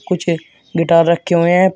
कुछ गिटार रखे हुए हैं पी--